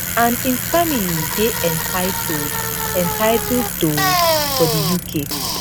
and im family dey entitled entitled to for di uk